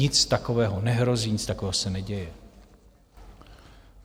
Nic takového nehrozí, nic takového se neděje.